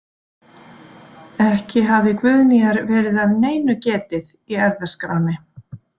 Ekki hafði Guðnýjar verið að neinu getið í erfðaskránni.